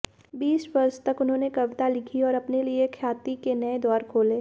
बीस वर्ष तक उन्होंने कविता लिखी और अपने लिए ख्याति के नए द्वार खोले